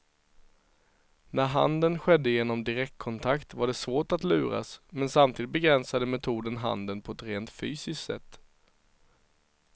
När handeln skedde genom direktkontakt var det svårt att luras, men samtidigt begränsade metoden handeln på ett rent fysiskt sätt.